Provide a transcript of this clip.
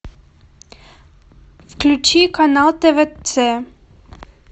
включи канал твц